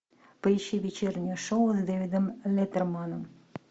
поищи вечернее шоу с дэвидом леттерманом